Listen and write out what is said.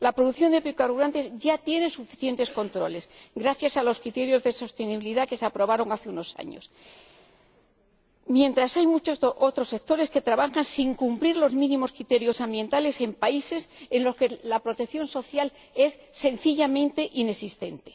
La producción de biocarburantes ya tiene suficientes controles gracias a los criterios de sostenibilidad que se aprobaron hace unos años, mientras hay muchos otros sectores que trabajan sin cumplir los criterios ambientales mínimos en países en los que la protección social es sencillamente inexistente.